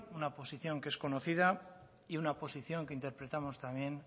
una posición que es conocida y una posición que interpretamos también